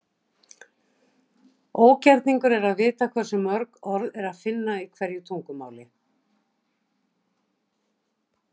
ógerningur er að vita hversu mörg orð er að finna í hverju tungumáli